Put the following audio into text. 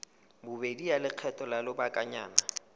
bobedi ya lekgetho la lobakanyana